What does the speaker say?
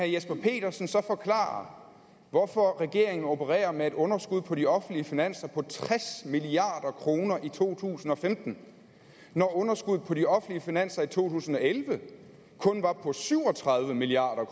jesper petersen så forklare hvorfor regeringen opererer med et underskud på de offentlige finanser på tres milliard kroner i to tusind og femten når underskuddet på de offentlige finanser i to tusind og elleve kun var på syv og tredive milliard